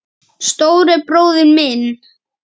Stóri bróðir minn.